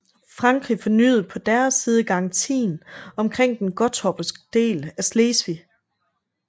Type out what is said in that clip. Frankrig fornyede på deres side garantien omkring den gottorpske del af Slesvig